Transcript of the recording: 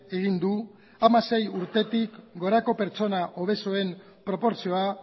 egin du hamasei urtetik gorako pertsona obesoen proportzioa